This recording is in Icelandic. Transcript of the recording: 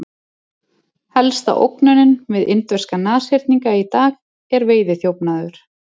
Helsta ógnunin við indverska nashyrninga í dag er veiðiþjófnaður.